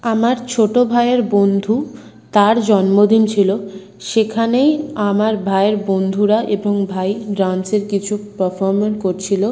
আমার ছোট ভাইয়ের বন্ধু তার জন্মদিন ছিল সেখানেই আমার ভাইয়ের বন্ধুরা এবং ভাই ডান্সের কিছু পারফরম্যান্স করছিল।